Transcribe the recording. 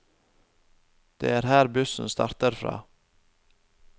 Det er her bussen starter fra.